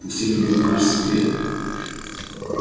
пусть это будет наш секрет